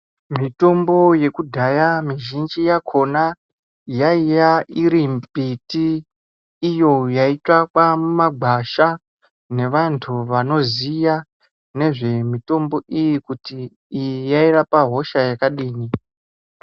Mitombo yekudhaya mizhinji yakhona yaiya iri mumbiti iyo yaitsvakwa mumagwasha nevanhu vanoziya nezvemitombo iyi kuti iyi yairapa hosha yakadini.